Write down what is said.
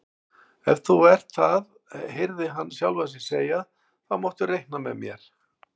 Ef þú ert það heyrði hann sjálfan sig segja, þá máttu reikna með mér